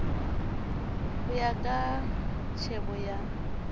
ho ya ka tjhebo ya